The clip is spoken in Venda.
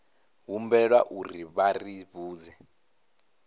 humbelwa uri vha ri vhudze